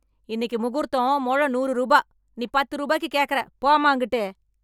இன்னைக்கு முகூர்த்தம் முழம் நூறு ரூபா, நீ பத்து ரூபாக்கு கேட்கற போம்மா அங்கிட்டு.